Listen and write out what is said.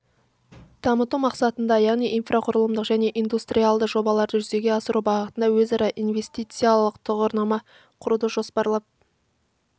дамыту мақсатында яғни инфрақұрылымдық және индустриалық жобаларды жүзеге асыру бағытында өзара инвестициялық тұғырнаманы құруды жоспарлап